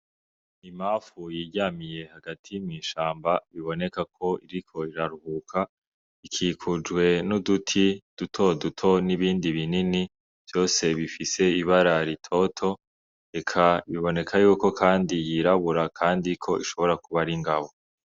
Imafu yiryamiye hagati mw'ishamba biboneka ko iriko riraruhuka ikikujwe n'uduti dutoduto n'ibindi binini vyose bifise ibara ritoto reka biboneka yuko, kandi yirabura, kandi ko ishobora kuba ar'ingabo.